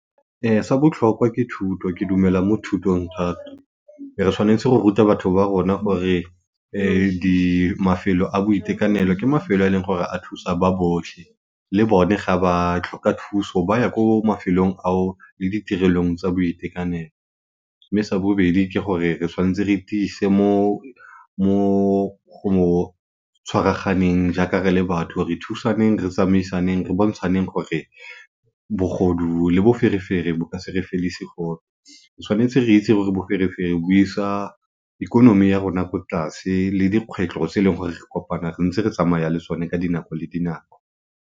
Sa botlhokwa ke thuto, ke dumela mo thutong thata. Re tshwanetse go ruta batho ba rona gore mafelo a boitekanelo ke mafelo a e leng gore a thusa ba botlhe, le bone ga ba tlhoka thuso ba ya ko mafelong ao le ditirelong tsa boitekanelo. Mme sa bobedi ke gore re tshwanetse re tiise mo go tshwaraganeng jaaka re le batho re thusaneng, re tsamaisaneng re bontshaneng gore bogodu le boferefere bo ka se re fedise gope. Tshwanetse re itse gore boferefere bo isa ikonomi ya rona ko tlase le dikgwetlho tse e leng gore re kopana re ntse re tsamaya le tsone ka dinako le dinako.